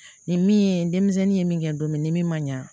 Nin min ye denmisɛnnin ye min kɛ don min ni min ma ɲa